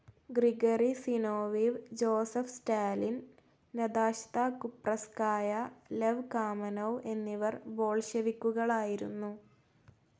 Gregory Zinoviev, Joseph Stalin, Nadezhda Krupskaya, Lev Kamenev എന്നിവർ ബോൾഷെവിക്കുകളായിരുന്നു.